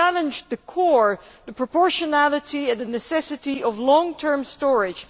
They challenged the core the proportionality and the necessity of long term storage.